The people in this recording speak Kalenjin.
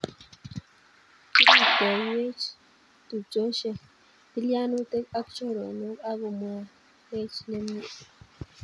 Kirutoiyweech tupchosyek, tilyanutiik ako choronook ak komakweech nemie.